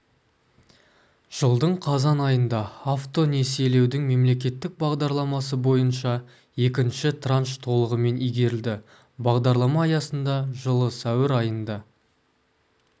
жылдың қазан айында автонесиелеудің мемлекеттік бағдарламасы бойынша екінші транш толығымен игерілді бағдарлама аясында жылы сәуір айында